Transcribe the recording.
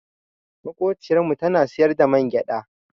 Maƙociyar mu tana siyar da mangyaɗa.